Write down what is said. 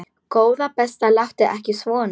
Góða besta láttu ekki svona!